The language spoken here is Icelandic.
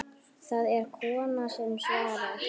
Það er kona sem svarar.